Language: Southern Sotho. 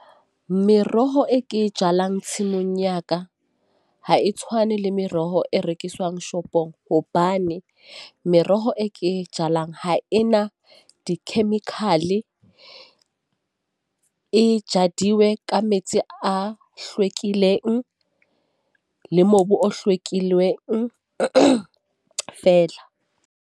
Meroho e ke jalang tshimong ya ka, ha e tshwane le meroho e rekiswang shopong, hobane meroho e ke jalang ha e na di-chemical-e. E jadilwe ka metsi a hlwekileng, le mobu o hlwekileng fela.